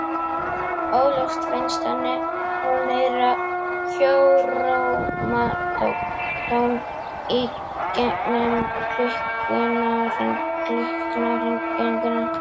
Óljóst finnst henni hún heyra hjáróma tón í gegnum klukknahringinguna.